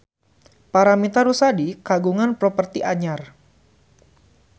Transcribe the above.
Paramitha Rusady kagungan properti anyar